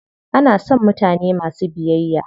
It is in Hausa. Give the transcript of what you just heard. Ana son mutane masu biyayya.